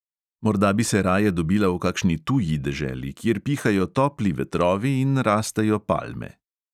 Morda bi se raje dobila v kakšni tuji deželi, kjer pihajo topli vetrovi in rastejo palme.